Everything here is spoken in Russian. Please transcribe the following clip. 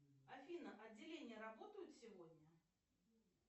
афина отделения работают сегодня